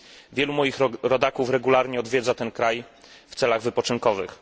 Wielu moich rodaków regularnie odwiedza ten kraj w celach wypoczynkowych.